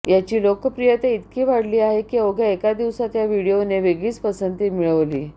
याची लोकप्रियता इतकी वाढली आहे की अवघ्या एका दिवसांत या व्हिडिओने वेगळीच पसंती मिळवली